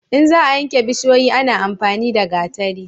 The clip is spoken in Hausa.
in za a yanke bishiyoyi ana amfani da gatari